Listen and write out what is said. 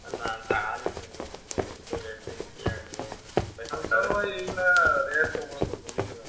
ନାଁ ତାହେଲେ କିଣି ହବନି ସେ ଏତେ rate ଦେଇ କିଏ ଆଣିବ ଏଗୁଡ଼ା rate ପ୍ରବଳ କରିଦଉଚି ବୁଝିଲନା।